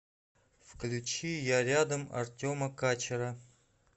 включи я рядом артема качера